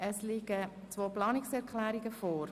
Es liegen zwei Planungserklärungen vor.